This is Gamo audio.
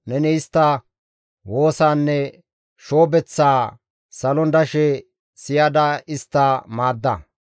neni istta woosaanne shoobeththaa salon dashe siyada istta maadda.